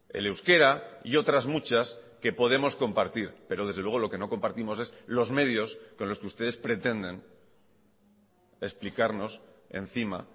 el euskera y otras muchas que podemos compartir pero desde luego lo que no compartimos es los medios con los que ustedes pretenden explicarnos encima